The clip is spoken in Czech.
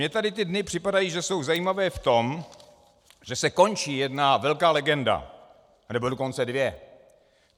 Mně tady ty dny připadají, že jsou zajímavé v tom, že se končí jedna velká legenda, nebo dokonce dvě.